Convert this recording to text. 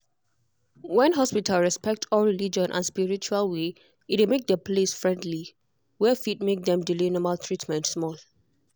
when hospital respect all religion and spiritual way e dey make the place friendly. were fit make dem delay normal treatment small.